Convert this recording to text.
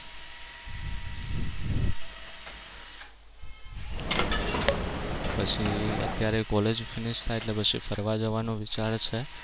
પછી અત્યારે college finish થાય એટલે પછી ફરવા જવાનો વિચાર છે.